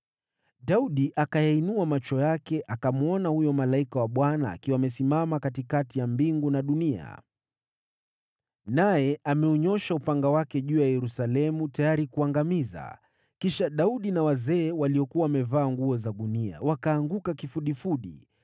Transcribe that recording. Daudi akayainua macho yake akamwona huyo malaika wa Bwana akiwa amesimama katikati ya mbingu na dunia, naye ameunyoosha upanga wake juu ya Yerusalemu tayari kuangamiza. Kisha Daudi na wazee, waliokuwa wamevaa nguo za gunia, wakaanguka kifudifudi.